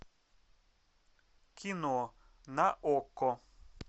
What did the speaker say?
кино на окко